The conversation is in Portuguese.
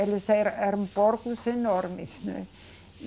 Eles era, eram porcos enormes, né?